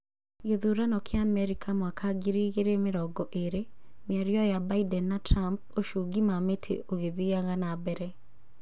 Gĩthurano kĩa Amerika mwaka ngiri igĩrĩ mĩrongo ĩrĩ: mĩario ya Biden na Trump ũchungi ma mĩtĩ ũgĩthiaga na mbere